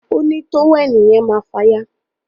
òní tówẹ́ẹ̀nù yen máa fàya